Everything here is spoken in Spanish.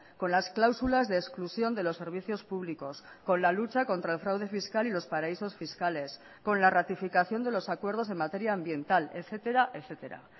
con las cláusulas de exclusión de los servicios públicos con la lucha contra el fraude fiscal y los paraísos fiscales con la ratificación de los acuerdos en materia ambiental etcétera etcétera